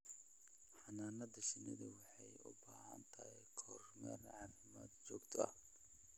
Xannaanada shinnidu waxay u baahan tahay kormeer caafimaad oo joogto ah.